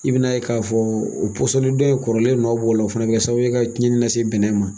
I bina ye k'a fɔ o dɔ in kɔrɔlen nɔ b'o la o fɛnɛ bi kɛ sababu ka cɛnni lase bɛnnɛ ma.